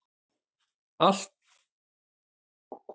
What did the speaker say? Í dag er allt fyrirgefið.